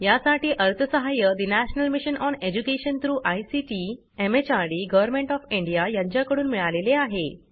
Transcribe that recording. यासाठी अर्थसहाय्य national mission on education through ICT MHRD government of India यांच्याकडून मिळालेले आहे